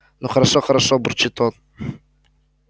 ну хорошо хорошо бурчит он